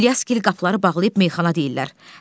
İlyaski qapıları bağlayıb meyaxana deyirlər.